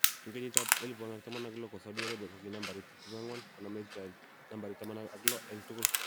En kenyitab 2016 ko Saudi Arabia kogi nambarit 24, konome Israel nambarit 16 en tugul